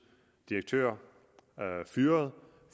direktør fyret